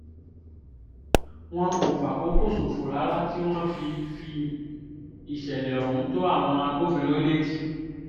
wọn kò fàkókò ṣòfò rárá tí wọ́n fi fi ìṣẹ̀lẹ̀ ohun tó àwọn agbófinró létí